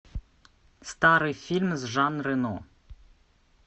старый фильм с жан рено